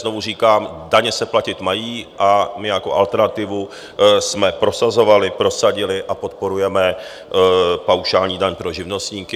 Znovu říkám: daně se platit mají a my jako alternativu jsme prosazovali, prosadili a podporujeme paušální daň pro živnostníky.